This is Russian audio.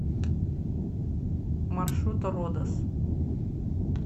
маршрут родос